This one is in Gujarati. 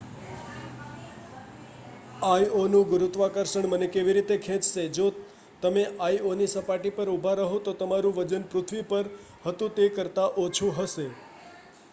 આઈઑનું ગુરુત્વાકર્ષણ મને કેવી રીતે ખેંચશે જો તમે આઈઑની સપાટી પર ઊભા રહો તો તમારું વજન પૃથ્વી પર હતું તે કરતા ઓછું હશે